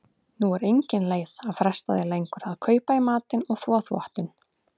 Nú er engin leið að fresta því lengur að kaupa í matinn og þvo þvottinn.